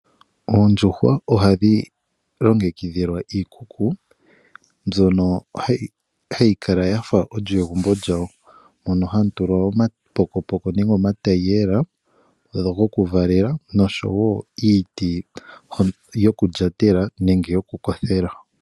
Oondjuhwa oha dhi longekidhilwa iikuku mbyono hayi kala ya fa olyo egumbo lyawo mono hamu tulwa omapokopoko nenge omatayiyela gokuvalela noshowo iiti yokulyatela nenge yokukothela.